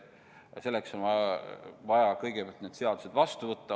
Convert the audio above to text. Selleks on vaja kõigepealt need seadused vastu võtta.